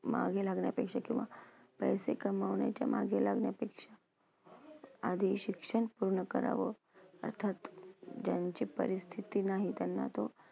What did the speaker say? मागे लागण्यापेक्षा किंवा पैसे कमवण्याच्या मागे लागण्यापेक्षा आधी हे शिक्षण पूर्ण करावं अर्थात ज्यांची परिस्थिती नाही त्यांना तो